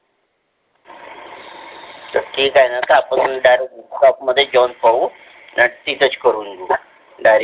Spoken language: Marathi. त ठीक आहे न सातमधून direct shop मध्ये जाऊन पाहू न तिथच करून घेऊ direct